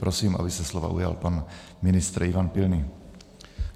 Prosím, aby se slova ujal pan ministr Ivan Pilný.